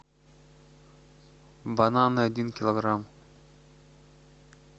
бананы один килограмм